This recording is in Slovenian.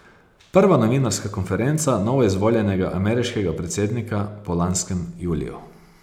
Prva novinarska konferenca novoizvoljenega ameriškega predsednika po lanskem juliju.